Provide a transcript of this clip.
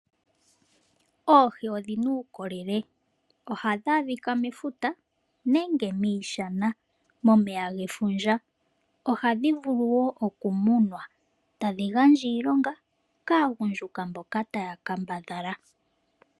Oohi odhi na uukolele. Ohadhi adhika mefuta nenge miishana momeya gefundja. Ohadhi vulu woo oku tekulwa. Tadhi gandja iilonga kaagundjuka mbono taya kambadhala.